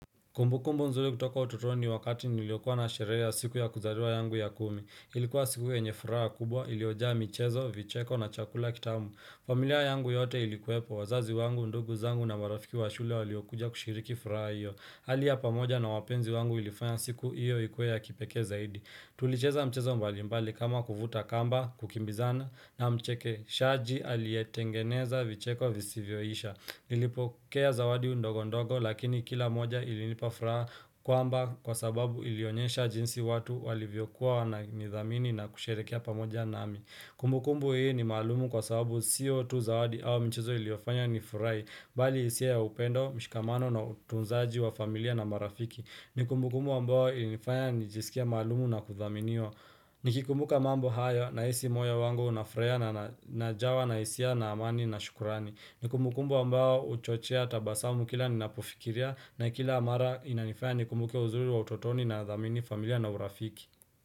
Kumbukumbu nzuri kutoka utotoni wakati niliokua na sherea siku ya kuzariwa yangu ya kumi. Ilikuwa siku yenye furaha kubwa ilioja mchezo, vicheko na chakula kitamu. Familia yangu yote ilikuwepo. Wazazi wangu, ndugu zangu na marafiki wa shule waliokuja kushiriki furaha hiyo. Hali ya pamoja na wapenzi wangu ilifanya siku hiyo ikuwe ya kipeke zaidi. Tulicheza mchezo mbalimbali kama kuvuta kamba, kukimbizana na mcheke. Shaji alietengeneza vicheko visivyoisha. Nilipo kea zawadi ndogo ndogo lakini kila moja ilinipafraa kwamba kwa sababu ilionyesha jinsi watu walivyokuwa wana nidhamini na kusherekea pamoja nami Kumbukumbu hii ni malumu kwa sababu sio tu zawadi au michezo iliofanya nifurai Bali isia ya upendo, mshikamano na utunzaji wa familia na marafiki Nikumbukumbu ambao ilinifanya nijisikie malumu na kuthaminiwa Nikikumbuka mambo hayo naisi moyo wangu unafraya najawa na isia na amani na shukurani Nikumukumbu ambao uchochea tabasamu kila ninapufikiria na kila amara inanifaya nikumbuke uzuri wa utotoni na dhamini familia na urafiki.